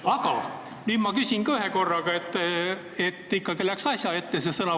Aga nüüd ma küsin ka, et see sõnavõtmine ikkagi asja ette läheks.